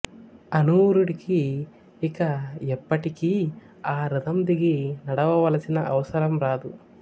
అనూరుడికి ఇక ఎప్పటికీ ఆ రథం దిగి నడవవలసిన అవసరం రాదు